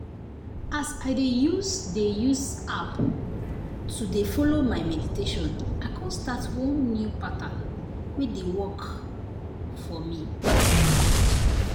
as i dey use dey use app to dey follow my meditation i kon start one new pattern wey dey wait! work for me.